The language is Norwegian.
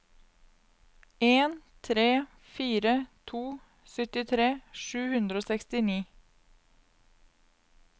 en tre fire to syttitre sju hundre og sekstini